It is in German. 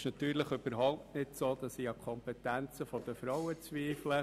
Es ist natürlich überhaupt nicht so, dass ich an der Kompetenz der Frauen zweifle.